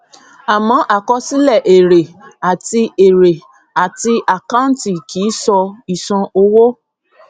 àmọ àkọsílẹ èrè àti èrè àti àkàǹtì kì í sọ ìṣàn owó